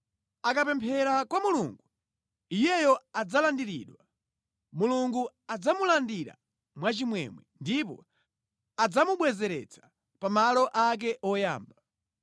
Akapemphera kwa Mulungu, iyeyo adzalandiridwa. Mulungu adzamulandira mwa chimwemwe ndipo adzamubwezeretsa pamalo ake oyamba.